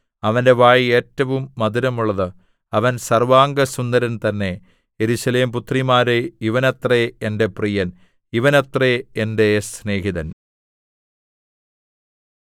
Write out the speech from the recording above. അവന്റെ വായ് ഏറ്റവും മധുരമുള്ളത് അവൻ സർവ്വാംഗസുന്ദരൻ തന്നെ യെരൂശലേം പുത്രിമാരേ ഇവനത്രേ എന്റെ പ്രിയൻ ഇവനത്രേ എന്റെ സ്നേഹിതൻ